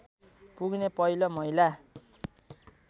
पुग्ने पहिलो महिला